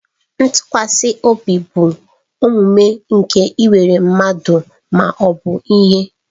Ntụkwasị obi bụ omume nke ikwere mmadụ ma ọ bụ ihe.